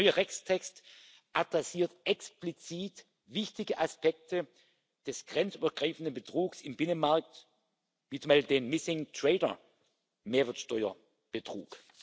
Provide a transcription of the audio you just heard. Der neue Rechtstext adressiert explizit wichtige Aspekte des grenzübergreifenden Betrugs im Binnenmarkt wie zum Beispiel den Missing Trader Mehrwertsteuerbetrug.